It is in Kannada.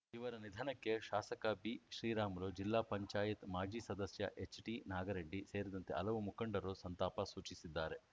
ಇವರ ನಿಧನಕ್ಕೆ ಶಾಸಕ ಬಿ ಶ್ರೀರಾಮುಲು ಜಿಲ್ಲಾ ಪಂಚಾಯತ್ ಮಾಜಿ ಸದಸ್ಯ ಎಚ್‌ಟಿನಾಗರೆಡ್ಡಿ ಸೇರಿದಂತೆ ಹಲವು ಮುಖಂಡರು ಸಂತಾಪ ಸೂಚಿಸಿದ್ದಾರೆ